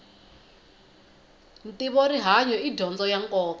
ntivo rihanyu i dyondzo ya nkoka